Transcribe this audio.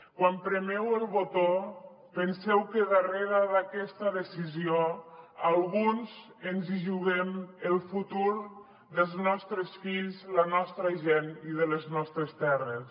quan premeu el botó penseu que darrere d’aquesta decisió alguns ens hi juguem el futur dels nostres fills la nostra gent i de les nostres terres